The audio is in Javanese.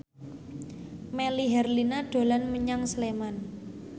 Melly Herlina dolan menyang Sleman